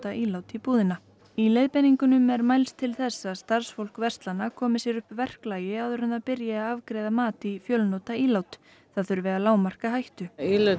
ílát í búðina í leiðbeiningunum er mælst til þess að starfsfólk verslana komi sér upp verklagi áður en það byrji að afgreiða mat í fjölnota ílát það þurfi að lágmarka hættu